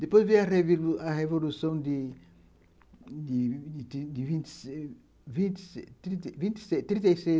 Depois veio a Revolução de de vinte trinta e seis.